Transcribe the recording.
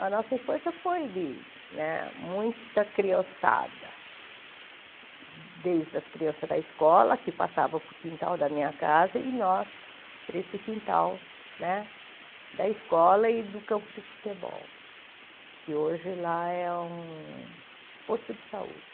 A nossa infância foi de né muita criançada, desde as crianças da escola, que passavam para o quintal da minha casa, e nós para esse quintal né da escola e do campo de futebol, que hoje lá é um posto de saúde.